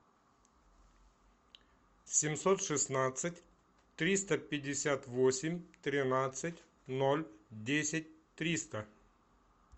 семьсот шестнадцать триста пятьдесят восемь тринадцать ноль десять триста